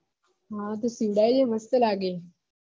હા તો સીવડાઈ લે મસ્ત લાગે